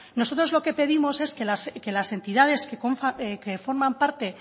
nosotros lo que pedimos es que las entidades que forman parte